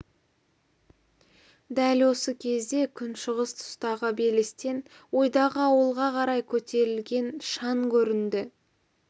дәл осы кезде күншығыс тұстағы белестен ойдағы ауылға қарай көтерілген шаң көрінді